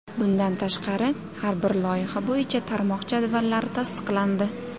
Bundan tashqari, har bir loyiha bo‘yicha tarmoq jadvallari tasdiqlandi.